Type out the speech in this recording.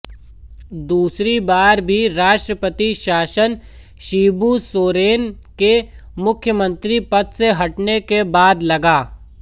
दूसरी बार भी राष्ट्रपति शासन शिबू सोरेन के मुख्मंत्री पद से हटने के बाद लगा